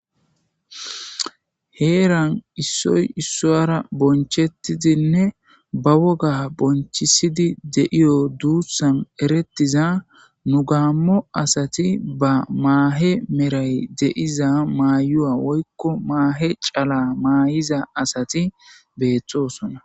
Heeran issoy issoyara bonchettidinne ba woga bonchisidi deiyo duuthan erettiza nu gaammo asati ba maahe meray deiza maayua woykko maahe cala maay'iza asati beettosona.